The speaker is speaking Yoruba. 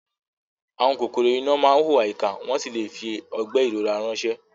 Àwọn kòkòrò iná máa ń hùwà ìkà wọ́n sì lè fi ọgbẹ́ ìrora ránṣẹ́.